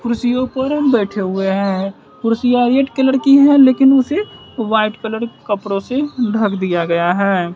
कुर्सियों पर बैठे हुए हैं कुर्सियां रेड कलर की है लेकिन उसे व्हाइट कलर के कपड़ों से ढक दिया गया है।